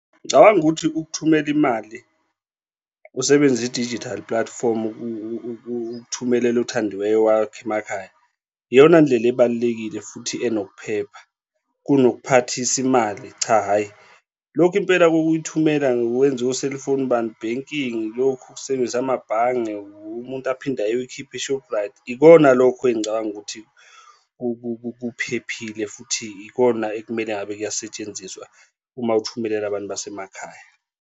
Ngicabanga ukuthi ukuthumela imali usebenzisa i-digital platform ukuthumelela othandiweyo wakho emakhaya iyona ndlela ebalulekile futhi enokuphepha kunokuphathisa imali, cha, hhayi, lokhu impela kokuyithumela ngokwenza o-cellphone bani banking, lokhu ukusebenzisa amabhange umuntu aphinde ayoyikhipha e-Shoprite, ikona lokho engicabanga ukuthi kuphephile futhi ikona ekumele ngabe kuyasetshenziswa uma uthumelele abantu basemakhaya.